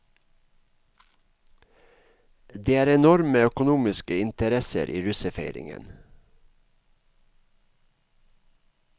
Det er enorme økonomiske interesser i russefeiringen.